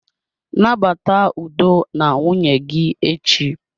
Nabata udo na nwunye gị echi.